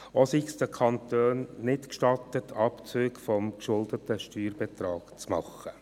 Zudem sei es den Kantonen nicht gestattet, Abzüge des geschuldeten Steuerbetrags zu machen.